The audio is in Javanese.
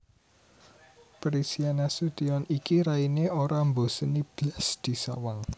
Prisia Nasution iki raine ora mboseni blas disawang